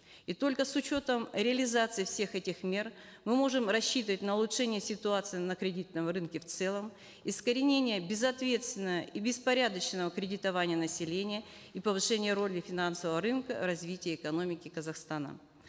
и только с учетом реализации всех этих мер мы можем рассчитывать на улучшение ситуации на кредитном рынке в целом искоренение безответственного и беспорядочного кредитования населения и повышения роли финансового рынка в развитии экономики казахстана